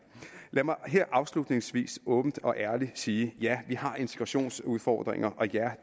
lad mig afslutningsvis åbent og ærligt sige ja vi har integrationsudfordringer og ja